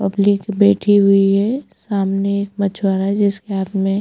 public बैठी हुई है सामने एक मछवारा है जिसके हाथ में--